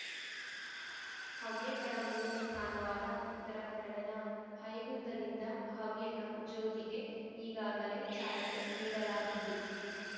ಹವ್ಯಕರ ಮೂಲ ಸ್ಥಾನವಾದ ಉತ್ತರಕನ್ನಡದ ಹೈಗುಂದದಿಂದ ಹವ್ಯಕ ಜ್ಯೋತಿಗೆ ಈಗಾಗಲೇ ಚಾಲನೆ ನೀಡಲಾಗಿದ್ದು